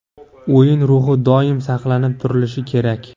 O‘yin ruhi doim saqlanib turilishi kerak.